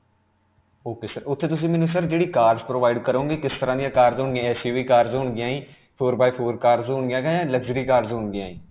ok sir. ਉਥੇ ਤੁਸੀਂ ਮੈਨੂੰ sir ਜਿਹੜੀ cars provide ਕਰੋਗੇ ਉਹ ਕਿਸ ਤਰ੍ਹਾਂ ਦੀਆਂ cars ਹੋਣ ਗਿਆਂ aix you vee cars ਹੋਣ ਗਿਆਂ ਜੀ, four by four cars ਹੋਣ ਗਿਆਂ ਜਾਂ luxury cars ਹੋਣ ਗਿਆਂ ਜੀ?